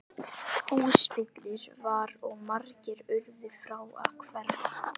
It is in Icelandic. Húsfyllir var og margir urðu frá að hverfa.